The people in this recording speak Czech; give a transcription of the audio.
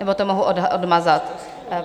Nebo to mohu odmazat?